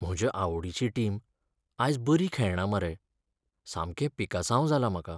म्हजे आवडीची टीम आयज बरी खेळना मरे. सामकें पिकासांव जालां म्हाका.